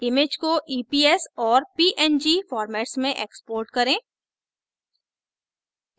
image को eps और png formats में export करें